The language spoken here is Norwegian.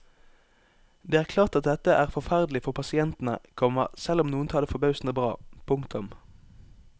Det er klart at dette er forferdelig for pasientene, komma selv om noen tar det forbausende bra. punktum